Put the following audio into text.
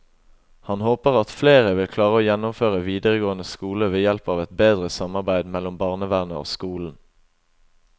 Han håper at flere vil klare å gjennomføre videregående skole ved hjelp av et bedre samarbeid mellom barnevernet og skolen.